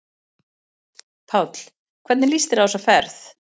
Páll: Hvernig líst þér á þessa ferð?